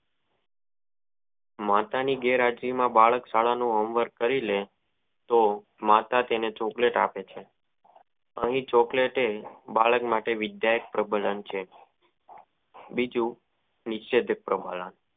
માતાની ગેરહાજરી માં બાળક શાળા નું હોમ વર્ક કરી લેય તો માતા તેને ચોકલેટ આપે છે અને એ ચોકલેટ બાળક માટે વિદ્યાક પ્રબંન છે બીજું નિસ્યંદ માળા